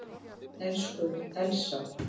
Elsku Elsa.